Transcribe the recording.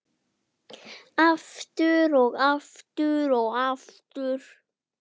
Aftur og aftur og aftur.